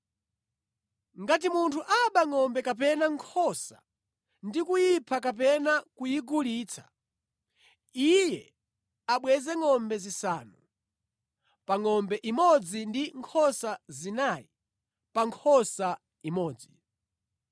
“Ngati munthu aba ngʼombe kapena nkhosa ndi kuyipha kapena kuyigulitsa, iye abweze ngʼombe zisanu pa ngʼombe imodzi ndi nkhosa zinayi pa nkhosa imodzi.